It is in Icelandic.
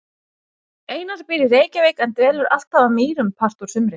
Einar býr í Reykjavík en dvelur alltaf að Mýrum part úr sumri.